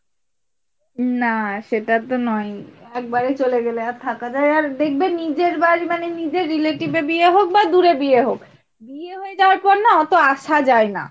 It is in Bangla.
না সেটা তো নই একেবারে চলে গেলে আর থাকা যায় আর দেখবে নিজের বাড়ি মানে নিজের relative এ বিয়ে হোক বা দূরে বিয়ে হোক বিয়ে হয়ে যাওয়ার পর না এতো আসা যায় না।